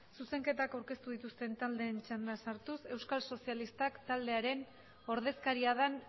zuzenketak aurkeztu dituzten taldeen txandan sartuz euskal sozialistak taldearen ordezkaria den